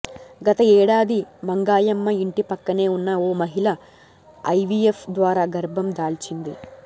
గత ఏడాది మంగాయమ్మ ఇంటి పక్కనే ఉన్న ఓ మహిళ ఐవీఎఫ్ ద్వారా గర్భం దాల్చింది